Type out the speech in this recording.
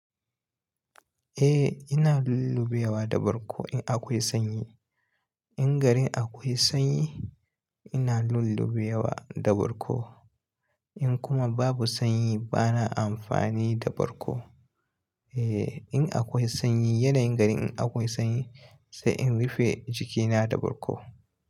Eh ina lullube wa da bargo in akwai sanyi. In garin akwai sanyi ina lullube wa da bargo. In kuma babu sanyi bana amfani da barko. Eh in akwai sanyi yanayin garin in akwai sanyi sai in rufe jikina da bargo.